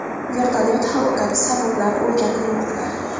Vertolyot halokati sabablari o‘rganilmoqda.